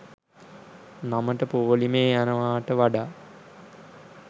නමට පෝලිමේ යනවාට වඩා